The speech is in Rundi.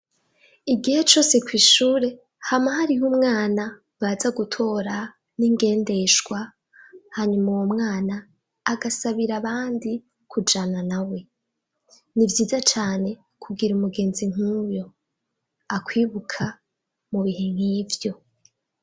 Igihe cose kw' ishure, hama hariho umwana baza gutora n' ingendeshwa, hanyuma uwo mwana agasabira abandi kujana nawe. Ni vyiza cane kugira mugenzi nk' uyo akwibuka mu bihe nkivyo.